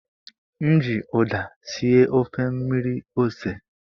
M ji ụda sie ofe mmiri ose.